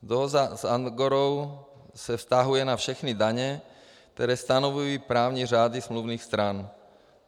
Dohoda s Andorrou se vztahuje na všechny daně, které stanovují právní řády smluvních stran.